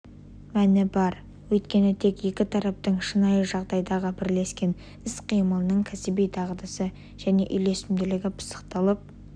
мәні бар өйткені тек екі тараптың шынайы жағдайдағы бірлескен іс-қимылының кәсіби дағдысы және үйлесімділігі пысықталып